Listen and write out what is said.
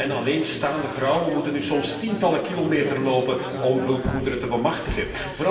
Ouderen en alleenstaande vrouwen moeten nu soms tientallen kilometers lopen om hulpgoederen te bemachtigen.